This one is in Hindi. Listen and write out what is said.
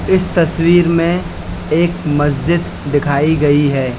इस तस्वीर में एक मस्जिद दिखाई गई है।